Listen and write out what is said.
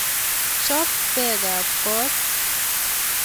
chop peekab kot